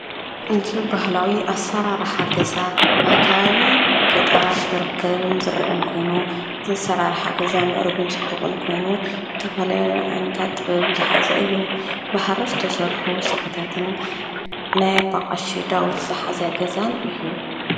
እዚ በህላዊ ኣሰራራሓ ገዛ ኣብ ከባቢ ገጠራት ዝርከብን ዝረአን ኮይኑ ዝዘራርሓ ገዛ ምዕርጉን ጽቡቕን ኮይኑ ዝተፈላለየ ዓነታት ጥበብ ዝሓዘ እዩ፡፡ ብሃሪ ዝተሰርሑ ስፈታትን ናይ ኣቦ ቐሺ ዳዊት ዝሓዘ ገዛን እዩ፡፡